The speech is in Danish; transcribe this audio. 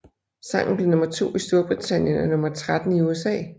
Sangen blev nummer to i Storbritannien og nummer tretten i USA